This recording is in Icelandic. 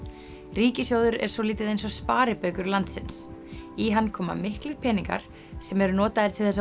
ríkissjóður er svolítið eins og sparibaukur landsins í hann koma miklir peningar sem eru notaðir til